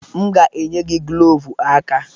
M ga-enye gị glovu aka.